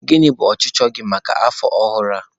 Gịnị bụ ọchịchọ gị maka afọ ọhụrụ a?